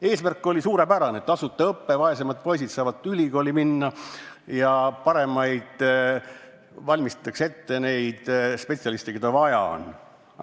Eesmärk oli suurepärane – tasuta õpe, vaesemad poisid saavad ülikooli minna ja ette valmistatakse neid spetsialiste, keda vaja on.